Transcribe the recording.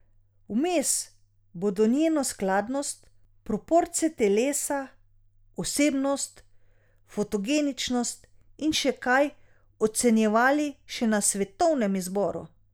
Vmes bodo njeno skladnost, proporce telesa, osebnost, fotogeničnost in še kaj ocenjevali še na svetovnem izboru.